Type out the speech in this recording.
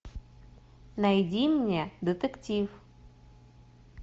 найди мне детектив